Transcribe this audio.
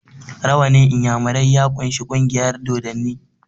rawannin inyamirai ya kunshi kungiyar dodanni